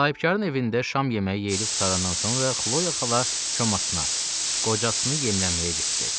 Sahibkarın evində şam yeməyi yeyilib qurtarandan sonra Xloya xala komasına, qocasını yemləməyə getdi.